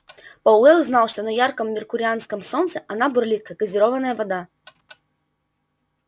пауэлл знал что на ярком меркурианском солнце она бурлит как газированная вода